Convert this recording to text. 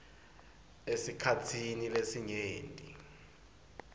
esikhatsini lesinyenti